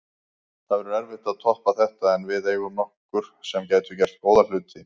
Það verður erfitt að toppa þetta en við eigum nokkur sem gætu gert góða hluti.